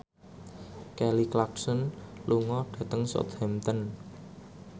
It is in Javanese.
Kelly Clarkson lunga dhateng Southampton